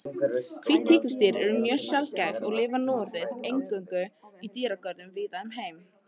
Hvít tígrisdýr eru mjög sjaldgæf og lifa núorðið nær eingöngu í dýragörðum víða um heim.